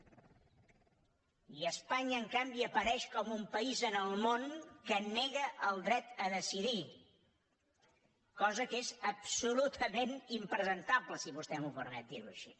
i espanya en canvi apareix com un país en el món que nega el dret a decidir cosa que és absolutament impresentable si vostè em permet dir ho així